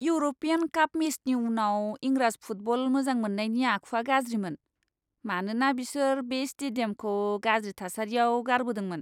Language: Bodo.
इउर'पियान काप मेचनि उनाव इंराज फुटबल मोजां मोन्नायनि आखुआ गाज्रिमोन, मानोना बिसोर बे स्टेडियामखौ गाज्रि थासारियाव गारबोदोंमोन।